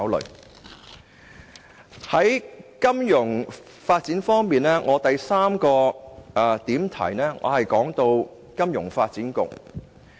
在金融發展方面，我要談論的第三個範疇是金發局。